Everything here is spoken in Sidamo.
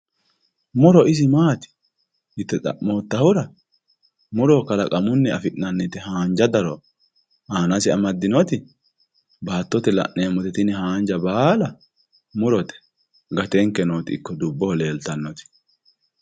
muro isi maati yite xa'moottahura muro kalaqamunni afi'nannite haanja daro aanase amaddinoti baattote aana laineemmoti tini haanja baala murote gatanke nooti ikko dubboho leeltannoti.